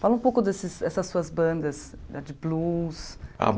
Fala um pouco dessas essas suas bandas ah de blues.